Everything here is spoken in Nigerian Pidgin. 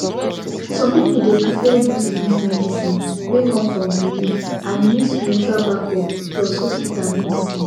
some people dey prefer use leaf medicine wey come from belief and e need spiritual backup plus hospital medicine